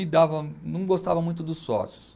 E dava, não gostava muito dos sócios.